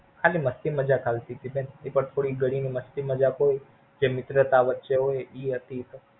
ખાલી Funny joke હાલતી તી બેન. એ તો થોડી ઘણી Funny joke હોય જે મિત્રતા વચ્ચે હોય ઈ હતી તો.